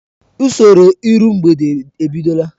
Usoro iru mgbede ebidola.